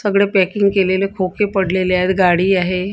सगळे पॅकिंग केलेले खोके पडलेले आहेत गाडी आहे.